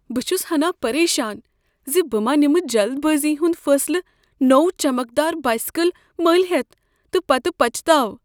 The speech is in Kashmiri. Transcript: بہٕ چھس ہناہ پریشان ز بہٕ ما نمہ جلد بٲزی ہند فیصلہ نوٚو چمکدار بایسیکل ملۍ ہیتھ تہ پتہ پچھتاوٕ۔